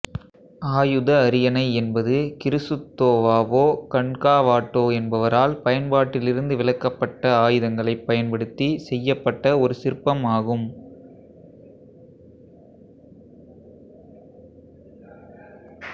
ஆயுத அரியணை என்பது கிறிசுத்தோவாவோ கன்காவாட்டோ என்பவரால் பயன்பாட்டிலிருந்து விலக்கப்பட்ட ஆயுதங்களைப் பயன்படுத்திச் செய்யப்பட்ட ஒரு சிற்பம் ஆகும்